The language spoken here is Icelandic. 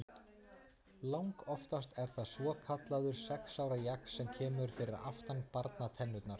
Langoftast er það svokallaður sex ára jaxl sem kemur fyrir aftan barnatennurnar.